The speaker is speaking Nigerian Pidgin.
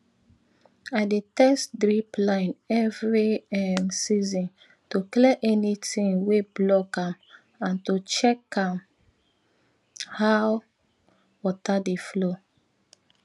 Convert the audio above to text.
i dey test drip line every um season to clear anything wey block am and to check um how water dey flow